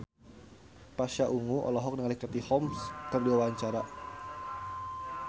Pasha Ungu olohok ningali Katie Holmes keur diwawancara